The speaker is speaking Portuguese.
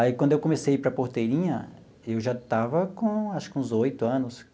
Aí, quando eu comecei a ir para Porteirinha, eu já estava com acho que uns oito anos.